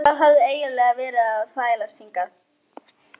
Gizur starði á manninn og trúði tæpast sínum eigin eyrum.